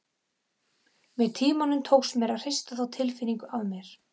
Með tímanum tókst mér að hrista þá tilfinningu af mér.